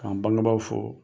K'an bangebaaw fo